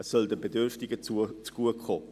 Es soll den Bedürftigen zugutekommen.